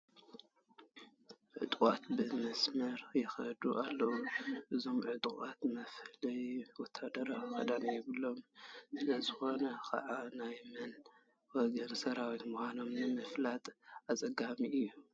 ዑጡቕት ብመስርዕ ይኸዱ ኣለዉ፡፡ እዞም ዕጡቓት መፍለዪ ወታደራዊ ክዳን የብሎምን፡፡ ስለዝኾነ ከዓ ናይ መን ወገን ሰራዊት ምዃኖም ንምፍላጥ ኣፀጋሚ እዩ፡፡